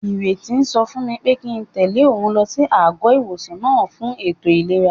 Ìrètí sọ fún mi pé kíi n tẹ̀lé òun lọ sí àgọ́-ìwòsàn náà fún ètò ìlera